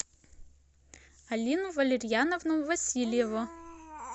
алину валерьяновну васильеву